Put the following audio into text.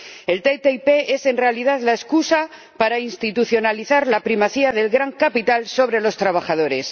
La ATCI es en realidad la excusa para institucionalizar la primacía del gran capital sobre los trabajadores.